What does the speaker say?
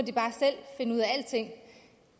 finde ud af alting